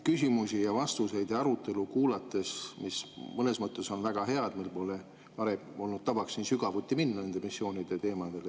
Küsimuste, vastuste ja arutelu kuulamine on mõnes mõttes väga hea, kuna meil pole varem olnud tavaks minna sügavuti nende missioonide teemadesse.